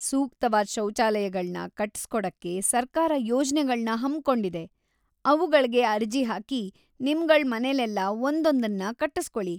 ಸೂಕ್ತವಾದ್ ಶೌಚಾಲಯಗಳ್ನ ಕಟ್ಟಿಸ್ಕೊಡಕ್ಕೆ ಸರ್ಕಾರ ಯೋಜ್ನೆಗಳ್ನ ಹಮ್ಮ್‌ಕೊಂಡಿದೆ, ಅವುಗಳ್ಗೆ ಅರ್ಜಿ ಹಾಕಿ ನಿಮ್ಗಳ್‌ ಮನೆಲೆಲ್ಲ ಒಂದೊಂದನ್ನ ಕಟ್ಟುಸ್ಕೊಳಿ.